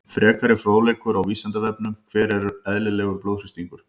Frekari fróðleikur á Vísindavefnum: Hver er eðlilegur blóðþrýstingur?